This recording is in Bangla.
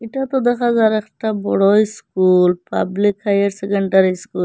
এটা তো দেখা যার একটি বড়ো ইস্কুল পাবলিক হায়ার সেকেন্ডারি স্কুল ।